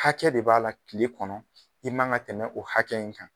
Hakɛ de b'a la tile kɔnɔ i man ŋa tɛmɛ o hakɛ in kan.